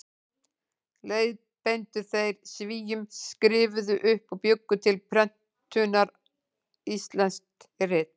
Leiðbeindu þeir Svíum, skrifuðu upp og bjuggu til prentunar íslensk rit.